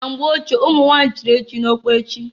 Na mgbe ochie, umunwanyị chiri echichi ọkpechi.